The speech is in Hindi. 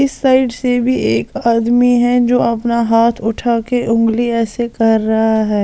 इस साइड से भी एक आदमी है जो अपना हाथ उठा के उंगली ऐसे कर रहा है।